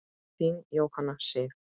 Þín, Jóhanna Sif.